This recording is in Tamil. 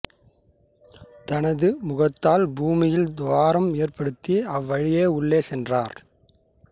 தனது முகத்தால் பூமியில் துவாரம் ஏற்படுத்தி அவ்வழியே உள்ளே சென்றார்